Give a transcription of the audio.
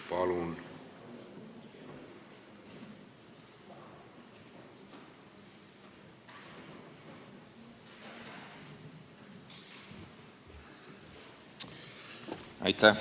Palun!